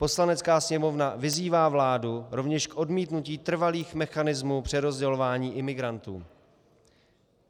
Poslanecká sněmovna vyzývá vládu rovněž k odmítnutí trvalých mechanismů přerozdělování imigrantů.